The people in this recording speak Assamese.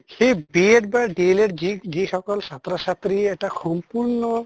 সেই B Ed বা DL Ed যি যি সকল ছাত্ৰ ছাত্ৰীয়ে এটা সম্পূৰ্ণ